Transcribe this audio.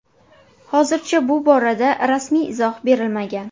Hozircha bu borada rasmiy izoh berilmagan.